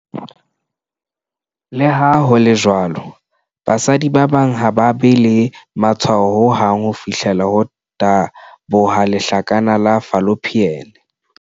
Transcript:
Le ha ho le jwalo, basadi ba bang ha ba be le matshwao ho hang ho fihlela ho taboha lehlakana la fallopian.